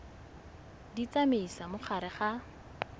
di tsamaisa mo gare ga